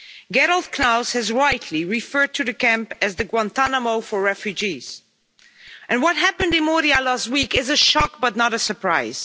Gerald Knaus has rightly referred to the camp as the Guantanamo for refugees', and what happened in Moria last week is a shock but not a surprise.